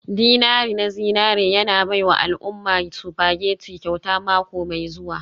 dinari na zinari yana baiwa al'umma spaghetti kyauta mako mai zuwa.